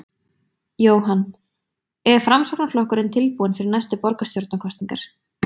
Jóhann: Er Framsóknarflokkurinn tilbúinn fyrir næstu borgarstjórnarkosningar?